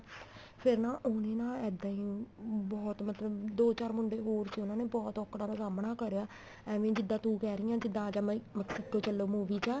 ਫੇਰ ਨਾ ਉਹਨੇ ਨਾ ਇੱਦਾਂ ਈ ਬਹੁਤ ਮਤਲਬ ਦੋ ਚਾਰ ਮੁੰਡੇ ਹੋਰ ਸੀ ਉਹਨਾ ਨੇ ਬਹੁਤ ਔਂਕੜਾ ਦਾ ਸਾਮਣਾ ਕਰਿਆ ਏਵੈ ਈ ਜਿੱਦਾਂ ਤੂੰ ਕਹਿ ਰਹੀ ਏ ਜਿੱਦਾਂ ਆਜਾ ਮਾਹੀ Mexico ਚੱਲੋ movie ਦਾ